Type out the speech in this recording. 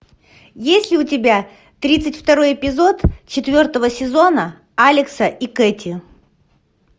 есть ли у тебя тридцать второй эпизод четвертого сезона алекса и кэти